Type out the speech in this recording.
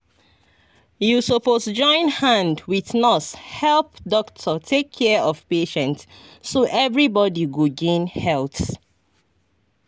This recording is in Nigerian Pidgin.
you suppose join hand wit nurse help doctor take care of patient so everybody go gain health.